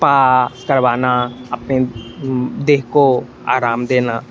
आ करवाना अपने देह को आराम देना।